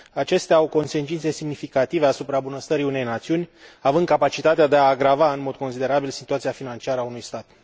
Acestea au consecințe semnificative asupra bunăstării unei națiuni, având capacitatea de a agrava în mod considerabil situația financiară a unui stat.